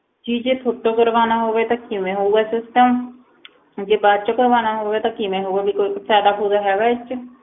ਜੀ ਜੇ ਥੋਤੋਂ ਕਰਵਾਉਣਾ ਹੋਵੇ ਤਾਂ ਕਿਵੇਂ ਹੋਊਗਾ system ਜੇ ਬਾਅਦ ਚੋਂ ਕਰਵਾਉਣਾ ਹੋਵੇ ਤਾਂ ਕਿਵੇਂ ਹੋਊਗਾ ਵੀ ਕੋਈ ਫ਼ਾਇਦਾ ਫ਼ੂਇਦਾ ਹੈਗਾ ਇਹ 'ਚ।